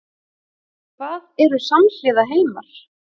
Hvað eru samhliða heimar?